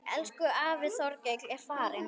Elsku afi Þorkell er farinn.